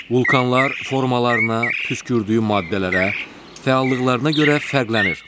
Vulcanlar formalarına, püskürdüyü maddələrə, fəallıqlarına görə fərqlənir.